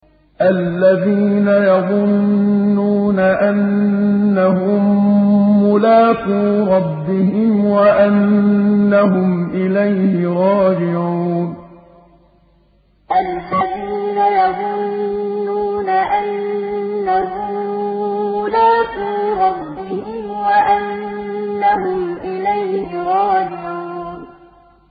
الَّذِينَ يَظُنُّونَ أَنَّهُم مُّلَاقُو رَبِّهِمْ وَأَنَّهُمْ إِلَيْهِ رَاجِعُونَ الَّذِينَ يَظُنُّونَ أَنَّهُم مُّلَاقُو رَبِّهِمْ وَأَنَّهُمْ إِلَيْهِ رَاجِعُونَ